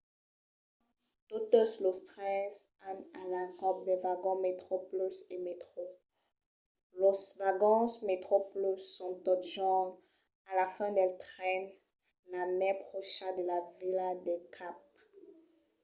totes los trens an a l’encòp de vagons metroplus e metro; los vagons metroplus son totjorn a la fin del tren la mai pròcha de la vila del cap